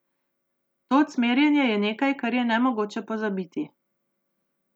To cmerjenje je nekaj, kar je nemogoče pozabiti.